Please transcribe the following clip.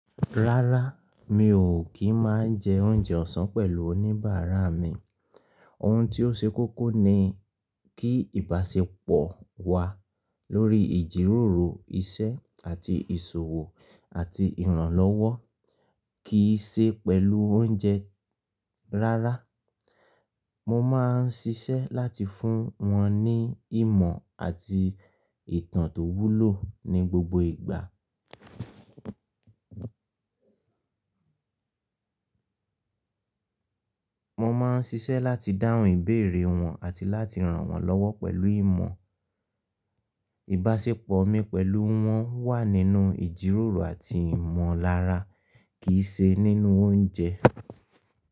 Rárá, mi ò kí máa jẹ oúnjẹ ọ̀sán pẹ̀lú oníbàárà mi. Ohun tí ó ṣe kókó ni kí ìbáṣepọ̀ wa lórí ìjíròrò, iṣẹ́ àti ìṣòwò àti ìrànlọ́wọ́ kì í ṣe pẹ̀lú oúnjẹ rárá. Mo máa ń ṣiṣẹ́ láti fún wọn ní ìmọ̀ àti ìtàn tó wúlò ní gbogbo ìgbà. Mo máa ń ṣiṣẹ́ láti dáhùn ìbéèrè wọn àti láti ràn wọ́n lọ́wọ́ pẹ̀lú ìmọ̀. Ìbáṣepọ̀ mi pẹ̀lú wọn wà nínú ìjíròrò àti ìmọ̀lára kì í ṣe nínú oúnjẹ.